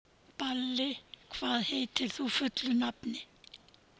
Balli, hvað heitir þú fullu nafni?